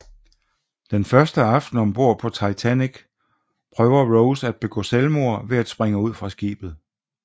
Den første aften om bord på Titanic prøver Rose at begå selvmord ved at springe ud fra skibet